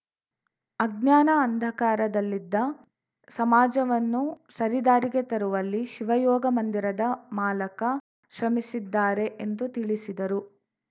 ಅಜ್ಞಾನ ಅಂಧಕಾರದಲ್ಲಿದ್ದ ಸಮಾಜವನ್ನು ಸರಿದಾರಿಗೆ ತರುವಲ್ಲಿ ಶಿವಯೋಗ ಮಂದಿರದ ಮಾಲಕ ಶ್ರಮಿಸಿದ್ದಾರೆ ಎಂದು ತಿಳಿಸಿದರು